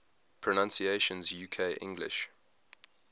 pronunciations uk english